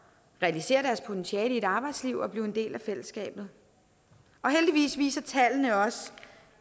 realisere deres potentiale i et arbejdsliv og blive en del af fællesskabet heldigvis viser tallene også